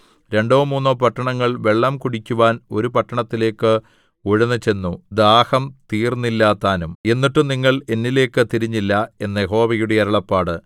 രണ്ടോ മൂന്നോ പട്ടണങ്ങൾ വെള്ളം കുടിക്കുവാൻ ഒരു പട്ടണത്തിലേക്ക് ഉഴന്നുചെന്നു ദാഹം തീർന്നില്ലതാനും എന്നിട്ടും നിങ്ങൾ എന്നിലേയ്ക്ക് തിരിഞ്ഞില്ല എന്ന് യഹോവയുടെ അരുളപ്പാട്